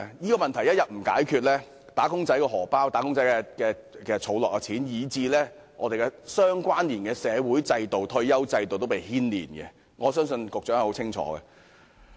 這問題一天不解決，"打工仔"的錢包、儲蓄，以至相連的社會制度及退休保障制度也會受牽連，我相信局長亦很清楚此點。